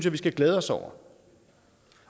at vi skal glæde os over